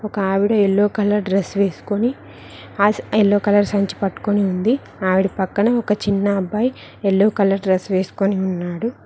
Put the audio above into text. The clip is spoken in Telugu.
ఒక ఆవిడ యెల్లో కలర్ డ్రెస్ వేసుకొని ఎల్లో కలరు సంచి పట్టుకొని ఉంది ఆవిడ పక్కన ఒక చిన్న అబ్బాయి ఎల్లో కలర్ డ్రెస్ వేసుకుని ఉన్నాడు.